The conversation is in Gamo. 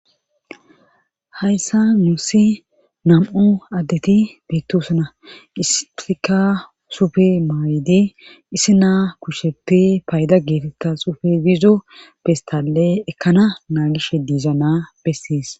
hayssa nuussi nam'u addeti beettosana issika sufe maayide issi naa kusheppe payda geetetta sufe biizo pestalle ekkana naagishe diiza naa bessiis.